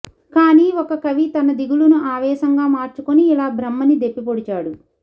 కానీ ఒక కవి తన దిగులును ఆవేశంగా మార్చుకుని ఇలా బ్రహ్మని దెప్పిపొడిచాడు